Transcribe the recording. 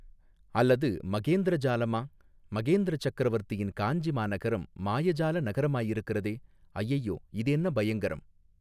அல்லது மகேந்திர ஜாலமா மகேந்திர சக்கரவர்த்தியின் காஞ்சி மாநகரம் மாய ஜால நகரமாயிருக்கிறதே ஐயையோ இது என்ன பயங்கரம்.